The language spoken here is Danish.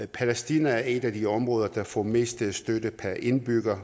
palæstina er et af de områder der får mest støtte per indbygger